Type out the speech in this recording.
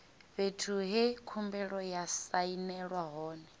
fhethu he khumbelo ya sainelwa hone